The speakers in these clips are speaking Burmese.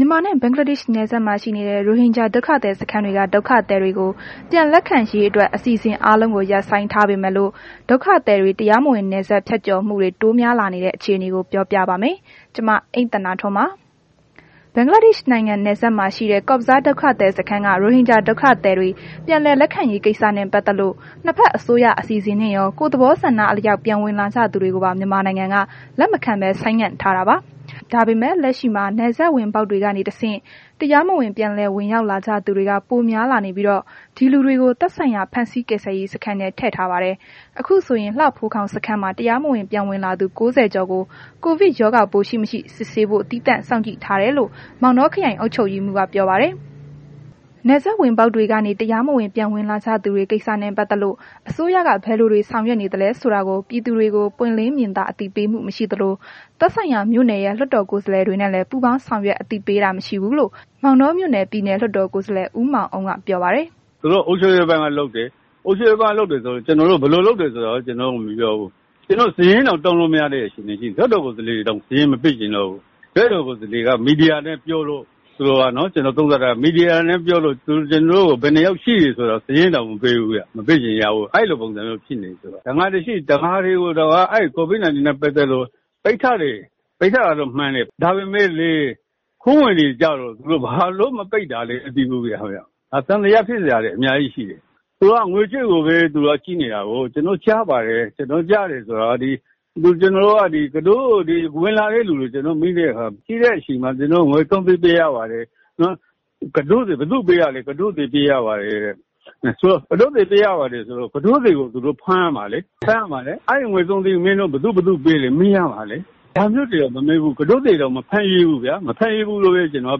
မြန်မာနှင့် ဘင်္ဂလားဒေ့ရှ်နယ်စပ်မှာ ရှိနေတဲ့ ရိုဟင်ဂျာဒုက္ခသည်စခန်းတွေက ဒုက္ခသည်တွေကို ပြန်လက်ခံရေးအတွက် အစီအစဉ်အားလုံးကို ရပ်ဆိုင်းထားပေမဲ့လို့ ဒုက္ခသည်တွေ တရားမဝင် နယ်စပ်ဖြတ်ကျော်ဝင်ရောက်မှု တိုးများလာနေတဲ့ အခြေအနေကို ဗွီအိုအေမြန်မာပိုင်းသတင်းထောက် မအိမ့်သန္တာထွန်းက ပြောပြပါမယ်။ ဘဂ်လားဒေ့ရှ်နိုင်ငံ နယ်စပ်မှာရှိတဲ့ Cox's Bazar ဒုက္ခသည်စခန်းက ရိုဟင်ဂျာ ဒုက္ခသည်တွေ ပြန်လည်လက်ခံရေးကိစ္စနဲ့ ပတ်သက်လို့စ်ဘက်အစိုးရ အစီအစဉ်နဲ့ရော ကိုယ့်သဘောဆန္ဒအလျှောက် ပြန်ဝင်လာကြသူတွေကိုပါ မြန်မာနိုင်ငံက လက်မခံဆိုင်းငံထားတာပါ။ ဒါပေမဲ့ လက်ရှိမှာ နယ်စပ်ဝင်ပေါက်တွေကနေတစ်ဆင့် တရားမဝင် ပြန်လည်ဝင်ရောက်လာ ကြသူတွေက ပိုများလာနေပြီးတော့ ဒီလူတွေကို သက်ဆိုင်ရာဖမ်းဆီး ကယ်ဆယ်ရေးစခန်းထဲ ထည့်ထားပါတယ်။ အခုဆိုရင် လှဖိုးခေါင်စခန်းမှာ တရားမဝင်ပြန်ဝင်လာသူ ၉၀ ကျော်ကို ကိုဗစ် ရောဂါပိုးရှိ၊ မရှိ စစ်ဆေးဖို့ သီးသန့်ထားစောင့်ကြည့်ထားတယ်လို့ မောင်းတောမြို့နယ် အုပ်ချုပ်ရေးမှူးက VOA ကို ပြောပါတယ်။ နယ်စပ်ဝင်ပေါက်တွေကနေ တရားမဝင် ပြန်ဝင်လာကြသူတွေ ကိစ္စနဲ့ ပတ်သက်လို့ အစိုးရက ဘယ်လိုတွေ ဆောင်ရွက်နေသလဲဆိုတာကို ပြည်သူတွေကို ပွင့်လင်းမြင်သာ အသိပေးမှု မရှိသလို သက်ဆိုင်ရာ မြို့နယ်ရဲ့ လွှတ်တော်ကိုယ်စားလှယ်တွေနဲ့လည်း ပူးပေါင်းဆောင်ရွက်အသိပေးတာ မရှိဘူးလို့ မောင်တောမြို့နယ် ပြည်နယ်လွှတ်တော်ကိုယ်စားလှယ် ဦးမောင်အုန်းက ပြောပါတယ်။ “သူတို့အုပ်ချုပ်ရေးပိုင်းက လုပ်တယ်။ ဘယ်လိုလုပ်တယ်ဆိုတာကို ကျနော်တို့ကို မပြောဘူး။ ကျနော်တို့ စာရင်းတောင်တောင်းလို့ မရတဲ့ အခြေအနေရှိတယ်။ လွှတ်တော်ကိုယ်စားလှယ်တွေတောင် စာရင်းမပေးချင်တော့ဘူး။ လွှတ်တော်ကိုယ်စားလှယ်တွေက မီဒီယာနဲ့ပြောလို့ ကျနော်သုံးသပ်တာက မီဒီယာကို ပြောလို့ ဘယ်နှစ်ယောက်ရှိတယ်ဆိုတာကို ကျနော်တို့ကို မပြောဘူး၊ စာရင်းတောင် မပေးချင်ကြဘူးဗျ၊ အဲ့လိုဖြစ်နေတယ်။ တံငါသည်တွေကိုတောင် ကိုဗစ်နဲ့ ပတ်သက်လို့ ပိတ်ထားတယ်၊ ပိတ်ထားတာတော့ မှန်တယ်။ ဒါပေမဲ့ ခိုးဝင်တွေကျတော့ ဘာလို့ မပိတ်တာလဲမသိဘူးဗျ။ ဒါ သံသယဖြစ်စရာတွေ အများကြီးရှိတယ်။ သူတို့က ငွေကြေးကိုပဲ ကြည့်နေတာကို ကျနော်တို့ ကြားပါတယ်။ ကြားတယ်ဆိုတာက ဒီကတော့နဲ့ ဝင်လာတဲ့သူတွေကို ကျနော်တို့က မေးတဲ့အခါမှာ ငွေ ၃၀၀,၀၀၀ ပေးရပါတယ်၊ ဘယ်သူကိုပေးရလဲဆိုတော့ ကုတို့လှေကို ပေးရပါတယ်တဲ့ ဆိုတော့ကုတို့လှေကို ပေးရတယ်ဆိုတော့ သူတို့က ကုတို့သည်ကို ဖမ်းရမှာလေ။ အဲ့ဒီ ငွေ ၃၀၀,၀၀၀ မင်းတို့ ဘယ်သူဘယ်သူ့ပေးလည်း မေးရမှာလေ။ ဒါမျိုးတွေကို မပေးဘူး၊ ကတော့သည်ကိုတောင် မဖမ်းရဲဘူးဗျာ မဖမ်းရဲဘူးလို့ပဲ ကျနော်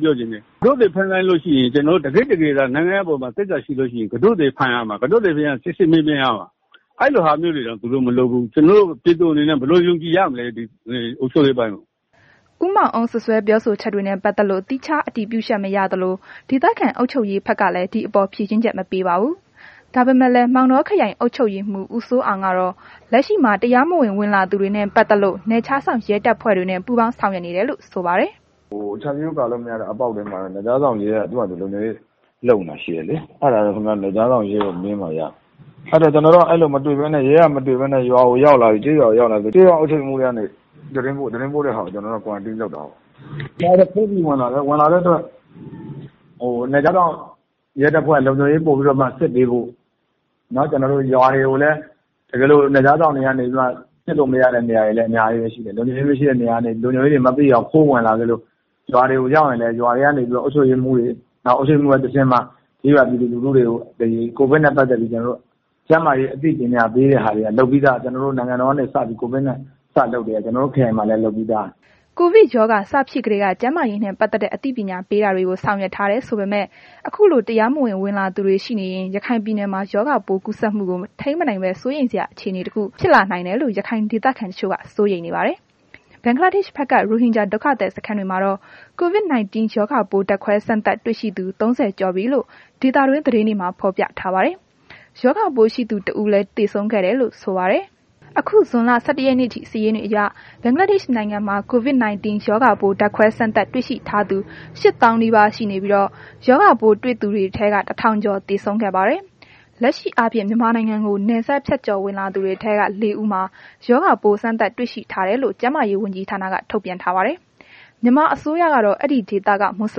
ပြောချင်တယ်။ ကုတို့လှေကို ဖမ်းလိုက်ရင် တကယ့်တကယ့်သာ နိုင်ငံအပေါ်မှာ သစ္စာရှိရင် ကုတို့လှေကို ဖမ်းပြီး စစ်ဆေးမေးမြန်းရမှာ အဲ့ဒီလိုတွေတောင် သူတို့မလုပ်ဘူး။ ကျနော်တို့ ပြည်သူတွေအနေနဲ့ ဘယ်လိုယုံကြည်ရမလဲ ဒီအုပ်ချုပ်ရေးပိုင်းကို။” ဦးမောင်အုန်း စွပ်စွဲပြောဆိုချက်တွေနဲ့ ပတ်သက်လို့ သီးခြားအတည်ပြုချက် မရသလို၊ ဒေသခံအုပ်ချုပ်ရေးဘက်ကလည်း ဒီအပေါ် ဖြေရှင်းချက် မပေးပါဘူး။ ဒါပေမဲ့လည်း မောင်တောခရိုင်အုပ်ချုပ်ရေးမှူးကတော့ လက်ရှိမှာ တရားမဝင် ဝင်လာသူတွေနဲ့ ပတ်သက်လို့ နယ်ခြားစောင့်ရဲတပ်ဖွဲ့တွေနဲ့ ပူးပေါင်းဆောင်ရွက်နေတယ်လို့ ဆိုပါတယ်။ “ခြံစည်းရိုးကာလို့မရတဲ့ နေရာတွေမှာတော့ နယ်ခြားစောင့်ရဲတပ်ဖွဲ့က သူဟာသူ လုံခြုံရေးလုပ်နေတာ ရှိတယ်လေ။ အဲ့တာတော့ ခင်ဗျားတို့ နယ်ခြားစောင့်ကို မေးမှရမယ်။ အဲ့လိုပဲ့ ရဲက မတွေ့ဘဲနဲ့ ရွာတွေကိုရောက်လာရင် ကျေးရွာအုပ်ချုပ်ရေးမှူးတွေကနေ သတင်းပို့တာကို ကျနော်တို့က Quarantine လုပ်တာပေါ့။ ဒါတွေက ခိုးပြီးတော့ ဝင်လာတာဖြစ်တဲ့အတွက် နယ်ခြားစောင့်ရဲတပ်ဖွဲ့က ပိုပြီးတော့ စစ်ပေးဖို့ ပြီးတော့ရွာတွေကိုလည်း နယ်ခြားစောင့်တွေက စစ်လို့မရတဲ့နေရာတွေလည်း အများကြီးပဲရှိတယ်။ အဲ့ဒီကနေ လုံခြုံရေးတွမသိအောင် ခိုးဝင်လာခဲ့လို့ ရွာတွေကိုရောက်ရင်လည်း အုပ်ချုပ်ရေးမှူးတွေ အုပ်ချုပ်ရေးမှုးတွေက တဆင့်မှ ကျေးရွာပြည်သူလူထုတွေကို ကိုဗစ်နဲ့ ပတ်သက်ပြီးတော့မှ ပညာပေးတာတွေက လုပ်ပြီးသား နိုင်ငံတော်ကနေ ကိုဗစ်နဲ့ ပတ်သက်ပြီး စလုပ်ကတည်းက ကျွန်တော်တို့ ခရိုင်မှာလည်း လုပ်ပြီးသား။” ကိုဗစ်ရောဂါ စဖြစ်ကတည်းက ကျန်းမာရေးနဲ့ ပတ်သက်တဲ့ အသိပညာပေးတာတွေကို ဆောင်ရွက်ထားတယ်ဆိုပေမဲ့ ခုလို တရားမဝင်ဝင်လာသူတွေ ရှိနေရင် ရခိုင်ပြည်မှာ ရောဂါကူးစက်မှုကို ထိန်းမနိုင်ဘဲ စိုးရိမ်စရာ အခြေအနေတစ်ခု ဖြစ်လာနိုင်တယ်လို့ ရခိုင်ဒေသခံတချို့ စိုးရိမ်နေပါတယ်။ ဘဂ်လားဒေ့ရှ်ဘက်က ရိုဟင်ဂျာ ဒုက္ခသည်စခန်းတွေမှာတော့ COVID 19 ရောဂါပိုး ဓါတ်ခွဲစမ်းသပ်တွေ့ရှိသူ ၃၀ ကျော်ပြီလို့ ဒေသတွင်းသတင်းတွေမှာဖော်ပြပါတယ်။ ရောဂါပိုးတဦးရှိသူ တဦးလည်း သေဆုံးခဲ့တယ်လို့ ဆိုပါတယ်။ အခု ဇွန်လ ၁၁ ရက်နေ့အထိ စာရင်းတွေအရ ဘင်္ဂလားဒေ့ရှ်နိုင်ငံမှာ COVID 19 ရောဂါပိုး ဓါတ်ခွဲစမ်းသပ်တွေ့ရှိထားသူ ၈၀,၀၀၀ နီးပါးရှိနေပြီး၊ ရောဂါပိုးတွေ့သူထဲက ၁,၀၀၀ ကျော် သေဆုံးခဲ့ပါပြီ။ လက်ရှိအားဖြင့် မြန်မာနိုင်ငံထဲကို နယ်စပ်ဖြတ်ကျော်ဝင်လာသူတွေထဲက လေးဦးမှာ ရောဂါပိုး စမ်းသပ်တွေ့ရှိထားတယ်လို့ ကျန်းမာရေးဝန်ကြီးဌာနက ထုတ်ပြန်ချက်ထားပါတယ်။ မြန်မာအစိုးရကတော့ အဲဒီဒေသက မွတ်ဆ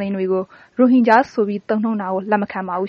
လင်တွေကို ရိုဟင်ဂျာဆိုပြီး သုံးနှုန်းတာကို လက်မခံပါဘူး